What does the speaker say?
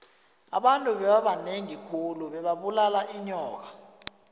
abantu bebabanengi khulu bebabulala inyoka